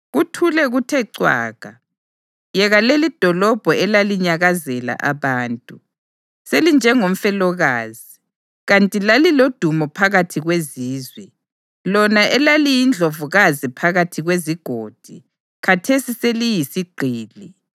Kuthule kuthe cwaka! Yeka lelidolobho elalinyakazela abantu! Selinjengomfelokazi, kanti lalilodumo phakathi kwezizwe. Lona elaliyindlovukazi phakathi kwezigodi, khathesi seliyisigqili.